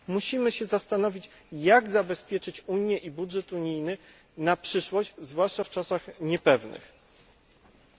Musimy się zastanowić, jak zabezpieczyć Unię i budżet unijny na przyszłość zwłaszcza w niepewnych czasach.